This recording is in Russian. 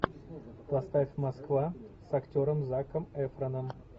поставь москва с актером заком эфроном